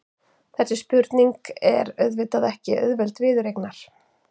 Þessi spurning er auðvitað ekki auðveld viðureignar.